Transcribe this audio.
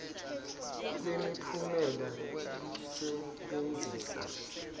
kwemi phumela lusebenzisa